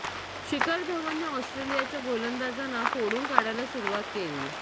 शिखर धवनने ऑस्ट्रेलियाच्या गोलंदाजांना फोडून काढायला सुरुवात केली